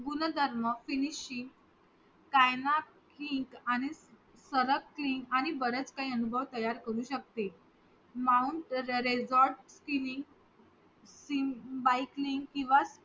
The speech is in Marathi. गुणधर्म finishing आणि बरंच काही अनुभव तयार करू शेकते Mount Resort Biking किंवा